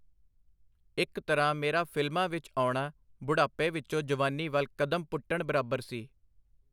ਇਕ ਤਰ੍ਹਾਂ ਨਾਲ ਮੇਰਾ ਫਿਲਮਾਂ ਵਿਚ ਆਉਣਾ ਬੁਢਾਪੇ ਵਿਚੋਂ ਜਵਾਨੀ ਵਲ ਕਦਮ ਪੁਟਣ ਬਰਾਬਰ ਸੀ.